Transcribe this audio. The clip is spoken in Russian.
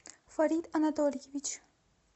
фарид анатольевич